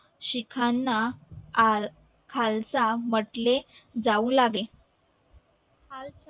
शिखाना आ खालसा म्हंटले जाऊ लागले खालसा